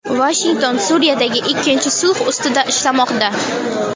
Vashington Suriyadagi ikkinchi sulh ustida ishlamoqda.